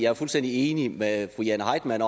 er fuldstændig enig med fru jane heitmann